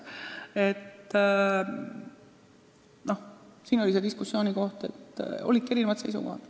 Siin oli diskussiooni koht ja seisukohad olidki erinevad.